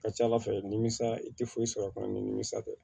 A ka ca ala fɛ nimisa i tɛ foyi sɔrɔ a kɔnɔ ni nimisi tɛ